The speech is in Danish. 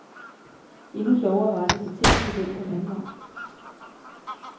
Endnu sjovere var det, da tingene blev vendt den anden vej.